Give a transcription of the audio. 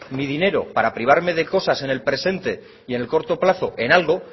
mi dinero para privarme de cosas en el presente y en el corto plazo en algo